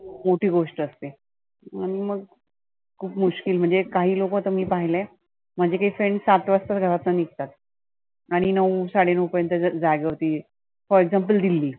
मोठी गोष्ट असते. आणि मग खुप मुश्किल म्हणजे काही लोक तर मी पाहिले. माझे काही friends सात वाजताच घरातनं निघतात. आणि नऊ साडे नऊ पर्यंत जागेवरती for example दिल्ली